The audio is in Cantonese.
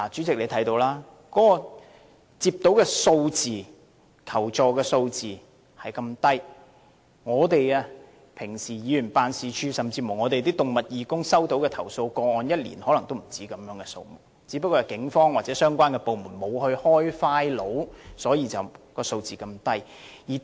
代理主席，相信你也看到，當局接獲的求助個案數字很低，而即使是議員辦事處甚或動物義工，日常所收到的投訴個案可能一年也不只這些數目，但因為警方或相關部門沒有立案，數字便如此低。